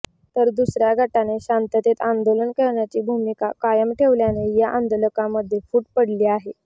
तर दुसऱ्या गटाने शांततेत आंदोलन करण्याची भूमिका कायम ठेवल्याने या आंदोलकांमध्ये फूट पडली आहे